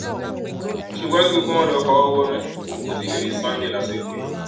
ṣùgbọn kí gbogbo wọn lọọ fọwọ wọnú wọn kó tí ì lè rí sunday lásìkò yìí